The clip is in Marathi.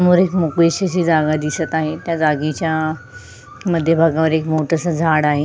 समोर एक मोकळी अशी जागा दिसत आहे त्या जागेच्या मध्य भाग मध्ये एक मोठ अस झाड आहे.